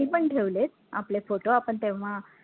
मी पण ठेवलेत आपले photo आपण तेव्हा